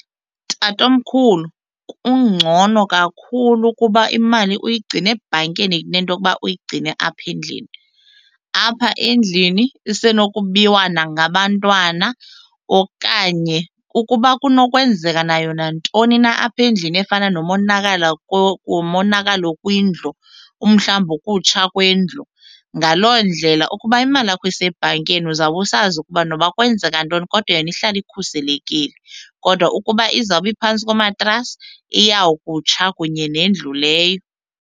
Tatomkhulu, kungcono kakhulu ukuba imali uyigcine ebhankeni kunento yokuba uyigcine apha endlini. Apha endlini isenokubiwa nangabantwana okanye ukuba kuba kunokwenzeka nayo nantoni na apha endlini efana nomonakalo nomonakalo kwindlu, umhlawumbi ukutsha kwendlu. Ngaloo ndlela ukuba imali yakho isebhankini kuyo uzawube usazi ukuba noba kwenzeka ntoni kodwa yona ihlala ikhuselekile, kodwa ukuba izawube phantsi komatrasi iyawukutsha kunye nendlu leyo.